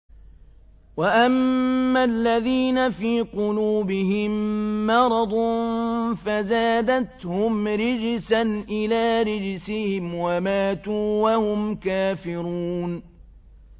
وَأَمَّا الَّذِينَ فِي قُلُوبِهِم مَّرَضٌ فَزَادَتْهُمْ رِجْسًا إِلَىٰ رِجْسِهِمْ وَمَاتُوا وَهُمْ كَافِرُونَ